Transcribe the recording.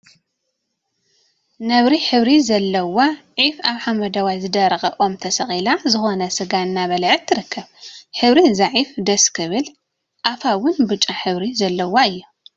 ነብሪ ሕብሪ ዘለዋ ዒፍ አብ ሓመደዋይ ዝደረቀ ኦም ተሰቂላ ዝኮነ ስጋ እናበልዐት ትርከብ፡፡ ሕብሪ እዛ ዒፍ ደስስስ!… ክብል አፋ እውን ብጫ ሕብሪ ዘለዎ እዩ፡፡